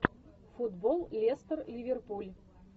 футбол лестер ливерпуль